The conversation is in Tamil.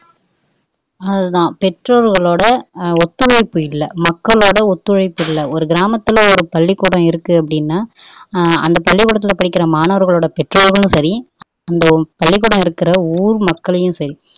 அதுதான் பெற்றோர்களோட ஒத்துழைப்பு இல்ல மக்களோட ஒத்துழைப்பு இல்ல ஒரு கிராமத்துல ஒரு பள்ளிக்கூடம் இருக்கு அப்படின்னா அந்த பள்ளிகூடத்துல படிக்கிற மாணவர்களோட பெற்றோரும் சரி அந்த பள்ளிக்கூடம் இருக்கிற ஊர் மக்களையும் சரி